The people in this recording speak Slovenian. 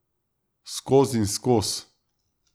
Skozinskoz!